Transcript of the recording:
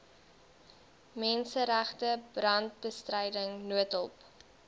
menseregte brandbestryding noodhulp